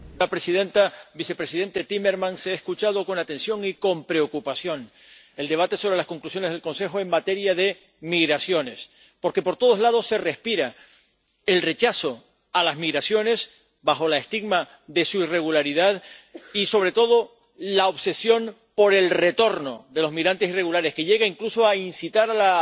Señora presidenta, vicepresidente Timmermans. He escuchado con atención y con preocupación el debate sobre las conclusiones del Consejo en materia de migraciones, porque por todos lados se respira el rechazo a las migraciones bajo el estigma de su irregularidad, y sobre todo la obsesión por el retorno de los migrantes irregulares, que llega incluso a incitar a la